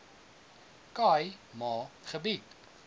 khai ma gebied